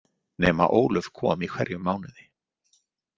Nema Ólöf kom í hverjum mánuði.